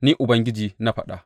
Ni Ubangiji na faɗa.